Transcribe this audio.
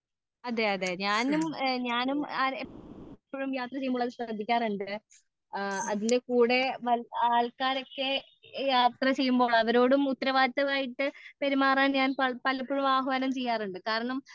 അതേ അതേ അതേ ഞാനും ഞാനും ഇപ്പോഴും യാത്ര ചെയ്യുമ്പോൾ അത് ശ്രദ്ധിക്കാറുണ്ട് ആ അതിന്റെ കൂടെ ആൾക്കാർ ഒക്കെ യാത്ര ചെയ്യുമ്പോൾ അവരോടും ഉത്തരവാദിത്തമായിട്ട് പെരുമാറാൻ ഞാൻ പലപ്പോഴും ആഹ്യാനം ചെയ്യാറുണ്ട് കാരണം